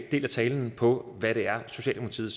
del af talen på hvad det er socialdemokratiet